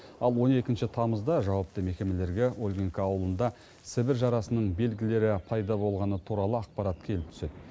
ал он екінші тамызда жауапты мекемелерге ольгинка ауылында сібір жарасының белгілері пайда болғаны туралы ақпарат келіп түседі